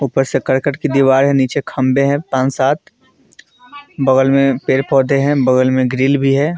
ऊपर से कर्कट की दीवार है। नीचे खंभे है पान -सात बगल में पेड़-पौधे हैं। बगल में ग्रिल भी है।